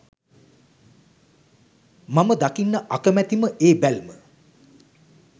මම දකින්න අකමැතිම ඒ බැල්ම